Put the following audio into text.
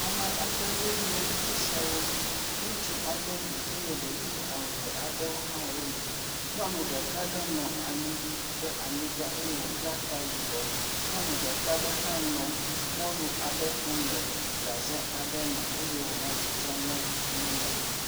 Ame aɖewo nye esiawo. Ŋutsu aɖe li eye ɖevi eve aɖewo hã wo li. Nyɔnu ɖeka aɖewo hã le anyigba eye wobla ta yibɔ. Nyɔnu ɖeka hã nɔ mɔlu kum le gaze aɖe me eye wo nɔ tsɔtsɔ ne nyɔnua.